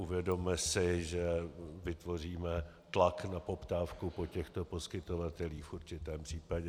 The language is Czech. Uvědomme si, že vytvoříme tlak na poptávku po těchto poskytovatelích v určitém případě.